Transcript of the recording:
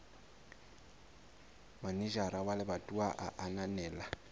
manejara wa lebatowa a ananela